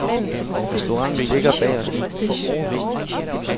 Restauranten ligger bag os nu.